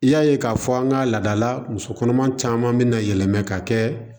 I y'a ye k'a fɔ an ka laadala muso kɔnɔma caman bi na yɛlɛma ka kɛ